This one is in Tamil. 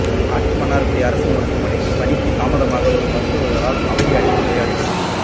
காட்டுமன்னார்குடி அரசு மருத்துவமனைக்கு பணிக்கு தாமதமாக வரும் மருத்துவர்களால் அவதி அடையும் நோயாளிகள்